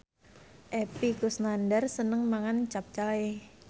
Epy Kusnandar seneng mangan capcay